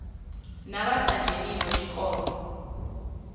na vha sa dzheniho tshikolo